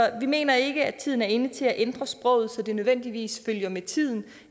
vi mener ikke at tiden er inde til at ændre sproget så det nødvendigvis følger med tiden